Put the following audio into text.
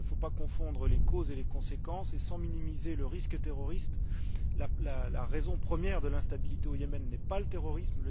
Il ne faut pas confondre les causes et les conséquences, et sans minimiser le risque terroriste, la raison première de l'instabilité au Yémen n'est pas le terrorisme.